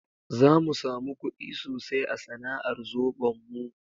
Zamu samu kuɗi sosai a sana'ar Zobon mu